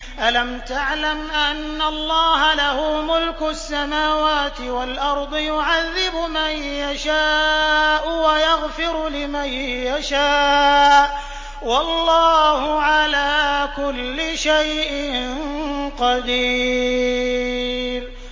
أَلَمْ تَعْلَمْ أَنَّ اللَّهَ لَهُ مُلْكُ السَّمَاوَاتِ وَالْأَرْضِ يُعَذِّبُ مَن يَشَاءُ وَيَغْفِرُ لِمَن يَشَاءُ ۗ وَاللَّهُ عَلَىٰ كُلِّ شَيْءٍ قَدِيرٌ